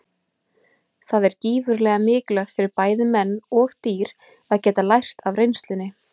Það er gífurlega mikilvægt fyrir bæði menn og dýr að geta lært af reynslunni.